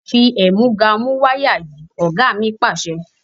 Fi ẹ̀múga mú wáyà yìí! Ọ̀gá mi Pàṣẹ.